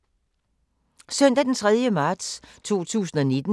Søndag d. 3. marts 2019